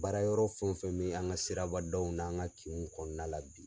Baara yɔrɔ fɛn o fɛn bɛ an ka siraba daw n'an ka kinw kɔnɔna la bi.